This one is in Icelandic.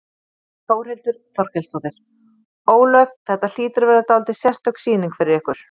Þórhildur Þorkelsdóttir: Ólöf, þetta hlýtur að vera dálítið sérstök sýning fyrir ykkur?